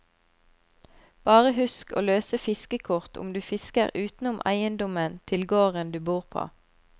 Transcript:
Bare husk å løse fiskekort om du fisker utenom eiendommen til gården du bor på.